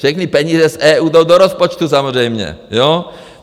Všechny peníze z EU jdou do rozpočtu samozřejmě.